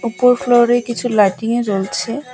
ওপর ফ্লোরে কিছু লাইটিংও জ্বলছে।